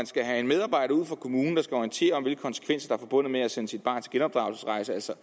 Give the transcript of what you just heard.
skal en medarbejder ud fra kommunen og orientere om hvilke konsekvenser forbundet med at sende sit barn på genopdragelsesrejse altså